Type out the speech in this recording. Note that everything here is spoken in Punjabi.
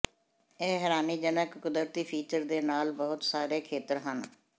ਇਹ ਹੈਰਾਨੀਜਨਕ ਕੁਦਰਤੀ ਫੀਚਰ ਦੇ ਨਾਲ ਬਹੁਤ ਸਾਰੇ ਖੇਤਰ ਹਨ